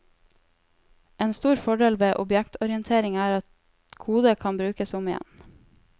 En stor fordel ved objektorientering er at kode kan brukes om igjen.